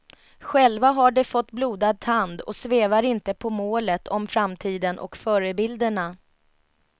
Själva har de fått blodad tand och svävar inte på målet om framtiden och förebilderna.